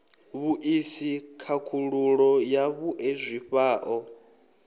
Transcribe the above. vhuisi khakhululo ya vhue zwifhao